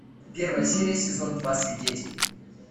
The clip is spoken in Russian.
первая серия сезон два свидетель